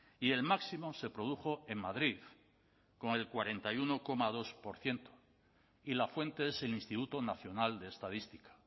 y el máximo se produjo en madrid con el cuarenta y uno coma dos por ciento y la fuente es el instituto nacional de estadística